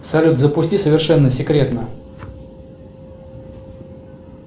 салют запусти совершенно секретно